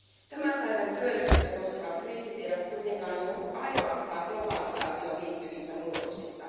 Tämän päivän työllisyyttä koskevat kriisit eivät kuitenkaan johdu ainoastaan globalisaatioon liittyvistä muutoksista.